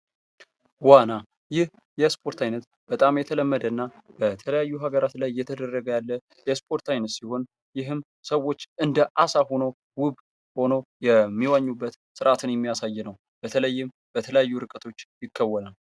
ዋና ይህ የስፖርት አይነት በጣም የተለመደ እና በተለያዩ ሀገራት ላይ እየተደረገ ያለ የስፖርት አይነት ሲሆን ይህም ሰዎች እንደ አሳ ሁነው ውብ ሁነው የሚዋኙበት ስርአትን የሚያሳይ ነው ። በተለይም በተለያዩ ርቀቶች ይከወናል ።